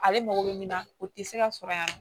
Ale mago bɛ min na o tɛ se ka sɔrɔ yan nɔ